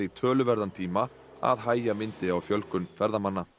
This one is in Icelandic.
töluverðan tíma að hægja myndi á fjölgun ferðamanna